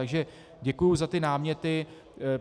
Takže děkuji za ty náměty.